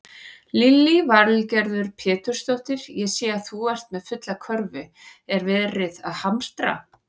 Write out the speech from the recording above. Lillý Valgerður Pétursdóttir: Ég sé að þú ert með fulla körfu, er verið að hamstra?